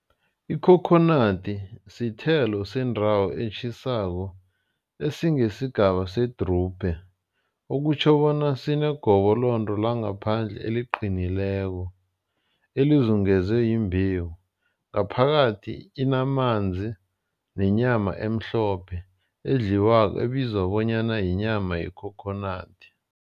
Ikhokhonadi sithelo sendawo etjhisako esingesigaba setrubhe. Okutjho bona sinegobolonde langaphandle eliqinileko elizungezwe yimbewu. Ngaphakathi inamanzi nenyama emhlophe edliwako ebizwa bonyana yinyama yekhokhonadi.